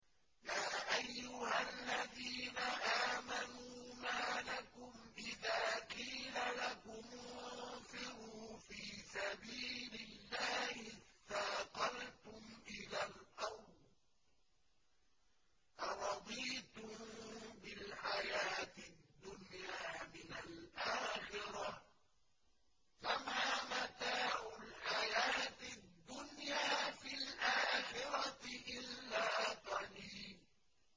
يَا أَيُّهَا الَّذِينَ آمَنُوا مَا لَكُمْ إِذَا قِيلَ لَكُمُ انفِرُوا فِي سَبِيلِ اللَّهِ اثَّاقَلْتُمْ إِلَى الْأَرْضِ ۚ أَرَضِيتُم بِالْحَيَاةِ الدُّنْيَا مِنَ الْآخِرَةِ ۚ فَمَا مَتَاعُ الْحَيَاةِ الدُّنْيَا فِي الْآخِرَةِ إِلَّا قَلِيلٌ